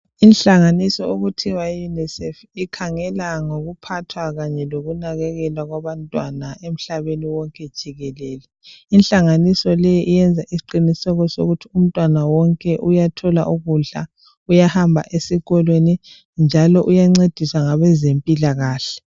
Inhlanganiso okuthiwa yiUnicef ikhangela ngokuphathwa kanye lokunakekelwa kwabantwana emhlabeni wonke jikelele. Inhlanganiso le iyenza isiqiniseko sokuthi umntwana wonke uyathola ukudla, uyahamba esikolweni njalo uyancediswa ngabezempilakahle.